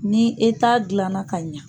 Ni e t'a dilanna ka ɲa